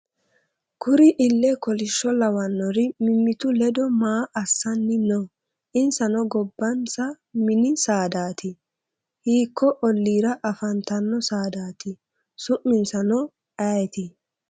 kurino iile kolisho lawanori mimitu ledo maa assanni noo? insano gobanisa mini saadati? hiko oliira afantano saadati? su'minsa no ayeti?